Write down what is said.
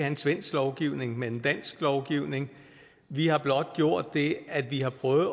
en svensk lovgivning men en dansk lovgivning vi har blot gjort det at vi har prøvet